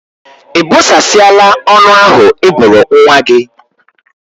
Ị bụsasiala ọnụ ahụ Ị bụrụ nwa gị?